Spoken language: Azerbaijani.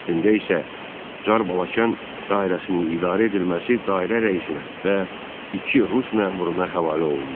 Əslində isə Çar Balakən dairəsinin idarə edilməsi dairə rəisinə və iki rus məmuruna həvalə olundu.